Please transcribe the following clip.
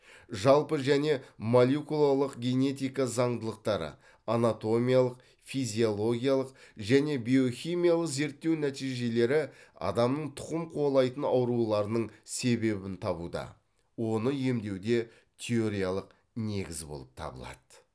жалпы және молекулалық генетика заңдылықтары анатомиялық физиологиялық және биохимиялық зерттеу нәтижелері адамның тұқым қуалайтын ауруларының себебін табуда оны емдеуде теориялық негіз болып табылады